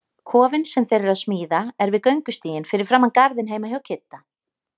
Kofinn sem þeir eru að smíða er við göngustíginn fyrir framan garðinn heima hjá Kidda.